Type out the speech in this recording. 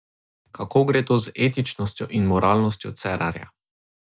Kako gre to z etičnostjo in moralnostjo Cerarja?